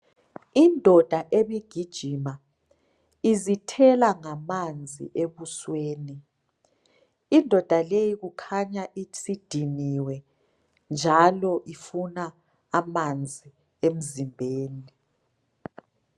Indoda ebigijima izithela ngamanzi ebusweni. Indoda leyi kukhanya isidiniwe njalo ifuna amanzi emzimbeni.